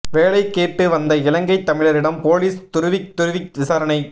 வேலை கேட்டு வந்த இலங்கைத் தமிழரிடம் போலிஸ் துருவித் துருவி விசாரணை